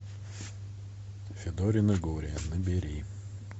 федорино горе набери